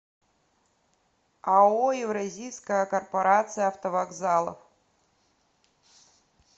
ао евразийская корпорация автовокзалов